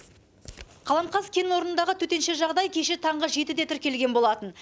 қаламқас кенорнындағы төтенше жағдай кеше таңғы жетіде тіркелген болатын